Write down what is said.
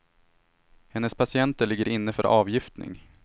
Hennes patienter ligger inne för avgiftning.